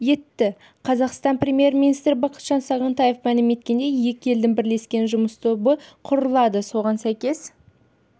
етті қазақстан премьер-министрі бақытжан сағынтаев мәлім еткендей екі елдің бірлескен жұмыс тобы құрылады соған сәйкес